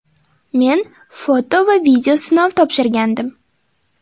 Men foto va video sinov topshirgandim.